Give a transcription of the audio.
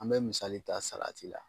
An bɛ misali ta salati la.